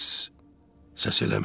Səs eləmə.